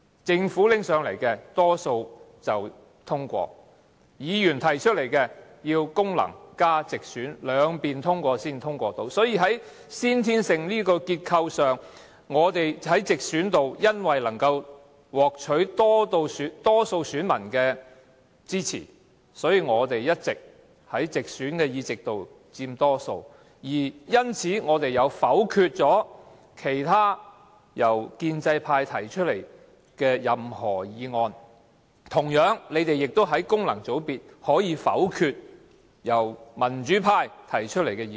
政府提交上來的法案及議案，多數會通過；議員提出來的議案，要功能界別加直選均過半數才能夠通過——所以，這個結構在先天上，我們在直選方面因為能夠獲取多數選民的支持，所以我們一直在直選議席佔多數，而因此我們能否決由建制派提出的任何議案；同樣，他們亦在功能界別可以否決由民主派提出的議案。